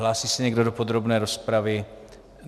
Hlásí se někdo do podrobné rozpravy?